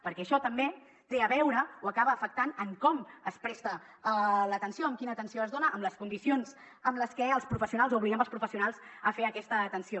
perquè això també té a veure o acaba afectant com es presta a l’atenció quina atenció es dona les condicions amb les que obliguem els professionals a fer aquesta atenció